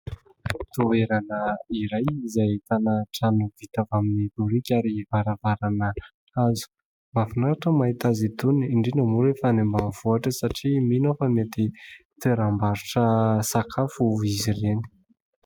Toerana iray izay ahitana trano vita avy amin'ny boriky ary varavarana hazo . Mahafinaritra ny mahita azy itony indrindra moa rehefa any ambaninvohitra satria mino aho fa mety toeram-barotra sakafo izy ireny .